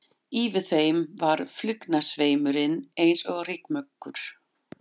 Yfir þeim var flugnasveimurinn eins og rykmökkur.